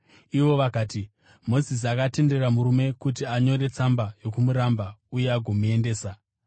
Ivo vakati, “Mozisi akatendera murume kuti anyore tsamba yokurambana uye agomuendesa.”